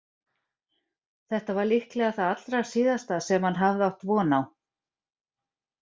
Þetta var líklega það allra síðasta sem hann hafði átt von á.